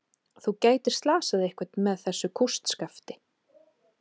Þú gætir slasað einhvern með þessu kústskafti.